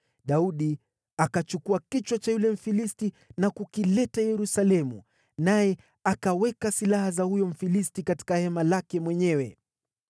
Daudi akachukua kichwa cha yule Mfilisti na kukileta Yerusalemu, naye akaweka silaha za huyo Mfilisti katika hema lake mwenyewe.